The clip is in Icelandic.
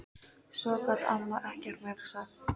Svo gat amma ekkert meira sagt.